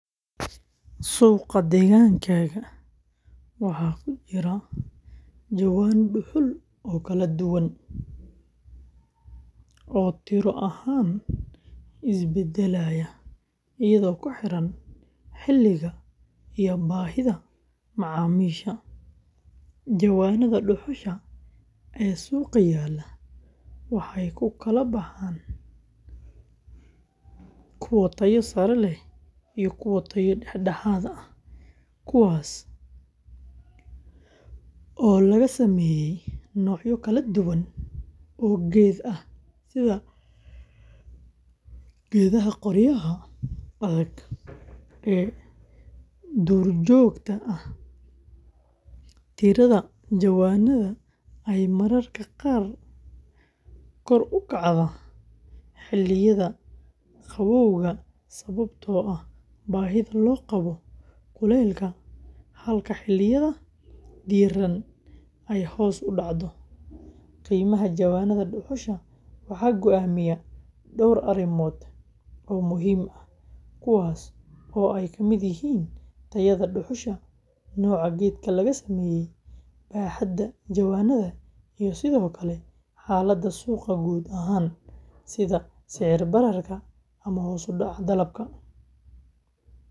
Suuqa deegaankaaga waxaa ku jira jawaano dhuxul oo kala duwan oo tiro ahaan isbedelaya iyadoo ku xiran xilliga iyo baahida macaamiisha. Jawaanada dhuxusha ee suuqa yaalla waxay u kala baxaan kuwo tayo sare leh iyo kuwo tayo dhexdhexaad ah, kuwaas oo laga sameeyay noocyo kala duwan oo geed ah sida geedaha qoryaha adag ee duurjoogta ah. Tirada jawaanada ayaa mararka qaar kor u kacda xilliyada qabowga sababtoo ah baahida loo qabo kuleylka, halka xilliyada diiran ay hoos u dhacdo. Qiimaha jawaanada dhuxusha waxaa go'aamiya dhowr arrimood oo muhiim ah, kuwaas oo ay ka mid yihiin tayada dhuxusha, nooca geedka laga sameeyay, baaxadda jawaanada, iyo sidoo kale xaaladda suuqa guud ahaan sida sicir bararka ama hoos u dhaca dalabka.